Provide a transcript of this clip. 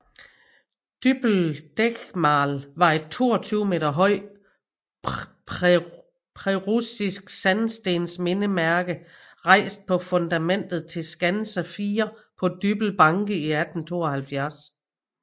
Düppel Denkmal var et 22 meter højt preussisk sandstensmindesmærke rejst på fundamentet til skanse 4 på Dybbøl Banke i 1872